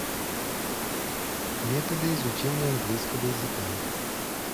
методы изучения английского языка